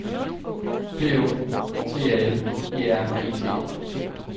P Å T A L E R E T